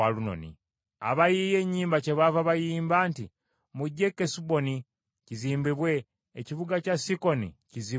Abayiiya ennyimba kyebaava bayimba nti, “Mujje e Kesuboni kizimbibwe; ekibuga kya Sikoni kizzibwewo.